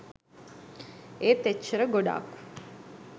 ඒත් එච්චර ගොඩක්